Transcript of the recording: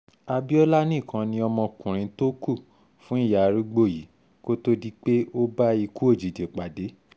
abiola nìkan ni ọmọkùnrin tó kù fún ìyá arúgbó yìí kó tóó di pé ó bá ikú òjijì pàdé